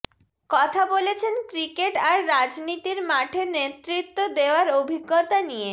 কথা বলেছেন ক্রিকেট আর রাজনীতির মাঠে নেতৃত্ব দেওয়ার অভিজ্ঞতা নিয়ে